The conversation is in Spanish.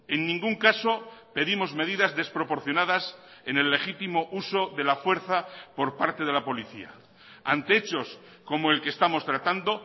en ningún caso pedimos medidas desproporcionadas en el legítimo uso de la fuerza por parte de la policía ante hechos como el que estamos tratando